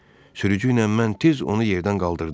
Sürücü ilə mən tez onu yerdən qaldırdıq.